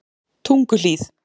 Tunguhlíð